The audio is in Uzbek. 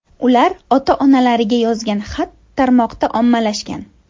Ular ota-onalariga yozgan xat tarmoqda ommalashgan .